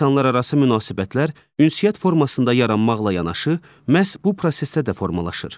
İnsanlararası münasibətlər ünsiyyət formasında yaranmaqla yanaşı, məhz bu prosesdə də formalaşır.